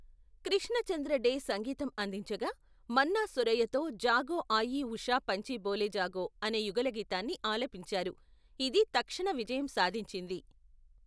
కృష్ణ చంద్ర డే సంగీతం అందించగా, మన్నా సురయ్యతో జాగో ఆయీ ఉషా పంచీ బోలే జాగో అనే యుగళగీతాన్ని ఆలపించారు, ఇది తక్షణ విజయం సాధించింది.